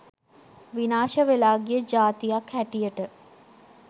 විනාශ වෙලා ගිය ජාතියක් හැටියට